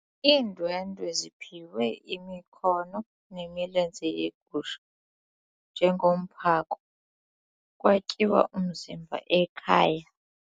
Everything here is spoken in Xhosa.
Iindwendwe ziphiwe imikhono nemilenze yegusha njengomphako kwatyiwa umzimba ekhaya.